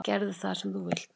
Gerðu það sem þú vilt!